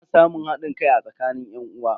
Ana samun hadin kai a tsakanin yan'uwa.